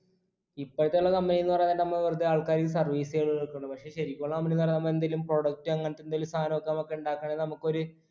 ഇപ്പോഴത്തെ ഉള്ള company ന്ന് പറയന്നേരം നമ്മ വെറുതെ ആൾക്കാരിക്ക് service കളില് നിക്കുണു പക്ഷെ ശരിക്കു ഉള്ള company ന്ന് പറഞ്ഞ നമ്മ എന്തെലും product അങ്ങനത്തെ എന്തേലു സാധനം ഒക്കെ നമുക്ക് ഉണ്ടാക്കയാണെങ്കിൽ നമുക്കൊര്